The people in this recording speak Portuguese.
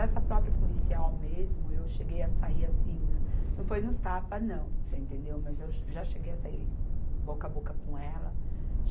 Essa própria policial mesmo, eu cheguei a sair assim, não foi nos tapas, não, você entendeu, mas eu já cheguei a sair boca a boca com ela.